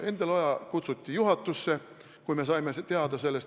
Endel Oja kutsuti juhatusse, kui me sellest teada saime.